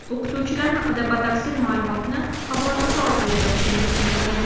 O‘qituvchilar haqida batafsil ma’lumotni havolasi orqali topishingiz mumkin.